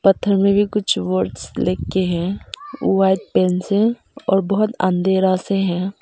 पत्थर में भी कुछ वर्ड लिख के हैं वाइट पेंट से और बहुत अंधेरा से हैं।